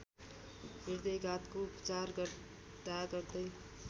हृदयघातको उपचार गर्दागर्दै